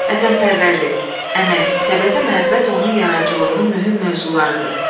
Vətənpərvərlik, əmək, təbiətə məhəbbət onun yaradıcılığının mühüm mövzularıdır.